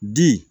Di